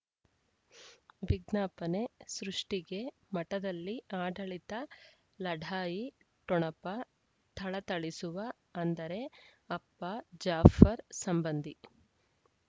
ವಿಜ್ಞಾಪನೆ ಸೃಷ್ಟಿಗೆ ಮಠದಲ್ಲಿ ಆಡಳಿತ ಲಢಾಯಿ ಠೊಣಪ ಥಳಥಳಿಸುವ ಅಂದರೆ ಅಪ್ಪ ಜಾಫರ್ ಸಂಬಂಧಿ